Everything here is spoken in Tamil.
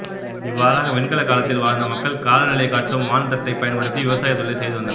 இவ்வாறாக வெண்கலக் காலத்தில் வாழ்ந்த மக்கள் காலநிலைக் காட்டும் வான் தட்டைப் பயன்படுத்தி விவசாயத் தொழிலைச் செய்து வந்தனர்